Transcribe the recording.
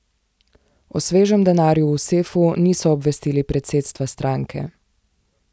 O svežem denarju v sefu niso obvestili predsedstva stranke.